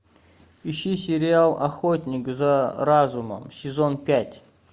ищи сериал охотник за разумом сезон пять